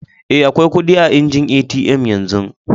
Eh, akwai kudi a injin ATM yanzu.